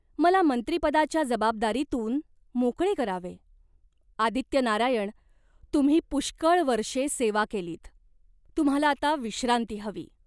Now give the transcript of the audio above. मला मंत्रिपदाच्या जबाबदारीतून मोकळे करावे." "आदित्यनारायण, तुम्ही पुष्कळ वर्षे सेवा केलीत. तुम्हाला आता विश्रांती हवी.